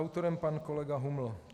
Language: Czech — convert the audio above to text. Autorem pan kolega Huml.